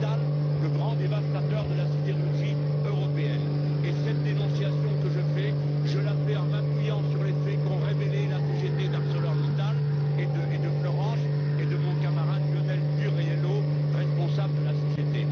Mittal, le grand dévastateur de la sidérurgie européenne. Cette dénonciation, je la fais en m'appuyant sur les faits qu'ont révélés la CGT d'ArcelorMittal et de Florange, et mon camarade Lionel Burriello, responsable de la CGT.